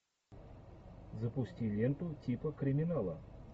запусти ленту типа криминала